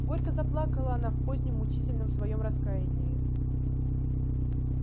горько заплакала она в позднем мучительном своём раскаянии